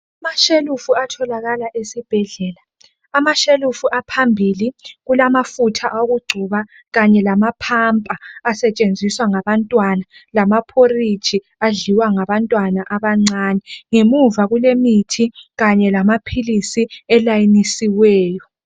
Amashelufu atholakala esibhedlela amashelufu aphambili kulamatafula awokugcoba kanye lamapamper asetshenziswa ngabantwana lama porridge adliwa ngabantwana abancane ngemuva kulemithi kanye lamaphilisi alayinisisweyo.